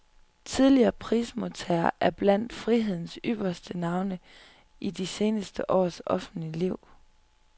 Tidligere prismodtagere er blandt frihedens ypperste navne i de seneste års offentlige liv.